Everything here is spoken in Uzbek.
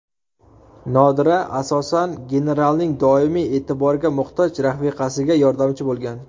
Nodira, asosan, genaralning doimiy e’tiborga muhtoj rafiqasiga yordamchi bo‘lgan.